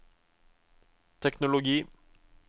teknologi